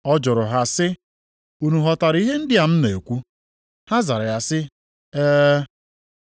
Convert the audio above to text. Ọ jụrụ ha sị, “Unu ghọtara ihe ndị a m na-ekwu?” Ha zara sị ya, “E.”